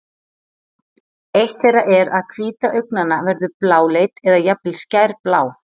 Eitt þeirra er að hvíta augnanna verður bláleit eða jafnvel skærblá.